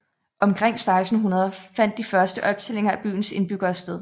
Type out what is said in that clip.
Omkring 1600 fandt de første optællinger af byens indbyggere sted